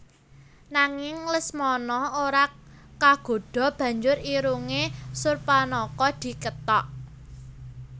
Nanging Lesmana ora kagodha banjur irunge Surpanaka dikethok